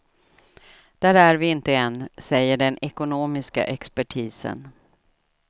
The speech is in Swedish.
Där är vi inte än, säger den ekonomiska expertisen.